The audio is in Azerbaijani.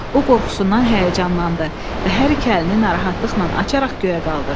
O qorxusundan həyəcanlandı və hər iki əlini narahatlıqla açaraq göyə qaldırdı.